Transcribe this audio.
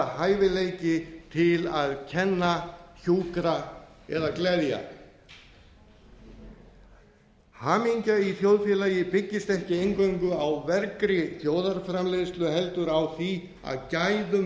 hæfileiki til að kenna hjúkra eða gleðja hamingja í þjóðfélagi byggist ekki aðeins á vergri þjóðarframleiðslu heldur á því að gæðum